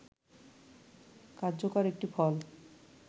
কার্যকর একটি ফল